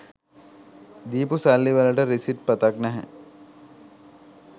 දීපු සල්ලිවලට රිසිට්පතක් නැහැ.